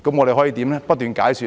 便是不斷解說。